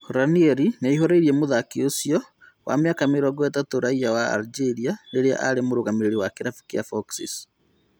Ranieri nĩaihũrĩirie mũthaki ũcio wa mĩaka mĩrongo ĩtatũ raiya wa Algeria rĩrĩa arĩ mũrũgamĩrĩri wa kĩrabu kĩa Foxes